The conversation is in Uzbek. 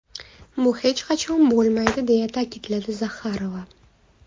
Bu hech qachon bo‘lmaydi”, deya ta’kidladi Zaxarova.